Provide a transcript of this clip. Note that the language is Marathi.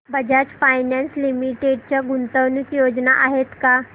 बजाज फायनान्स लिमिटेड च्या गुंतवणूक योजना आहेत का